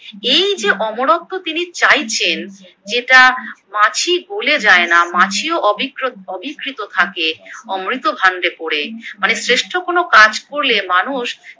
এই যে অমরত্ব তিনি চাইছেন যেটা মাছি গলে যায় না মাছিও অবিকরূ অবিকৃত থাকে অমৃত ভান্ডে পরে মানে শ্রেষ্ঠ কোনো কাজ করলে মানুষ